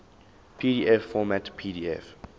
pdf format pdf